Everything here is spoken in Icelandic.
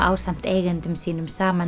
ásamt eigendum sínum saman